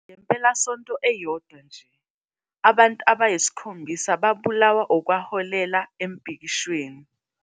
Ngempelasonto eyodwa nje, abantu abayisikhombisa babulawa, okwaholela emibhikishweni.